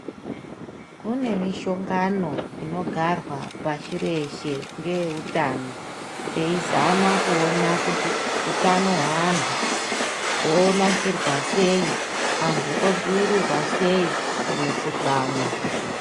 Kune mishongano inogarwa pasi rese ngevehutano eizama kuona kuti hutano hwevandu wonasirwa sei antu odzivirirwa sei kumikuhlani.